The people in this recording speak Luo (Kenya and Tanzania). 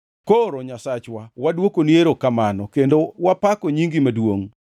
Koro, Nyasachwa, wadwokoni erokamano, kendo wapako nyingi maduongʼ.